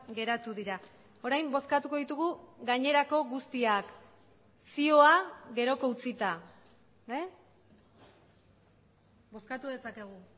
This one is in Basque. geratu dira orain bozkatuko ditugu gainerako guztiak zioa geroko utzita bozkatu dezakegu